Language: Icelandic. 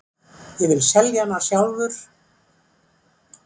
Ég vil selja hana sjálfur.